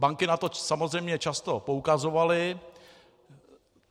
Banky na to samozřejmě často poukazovaly.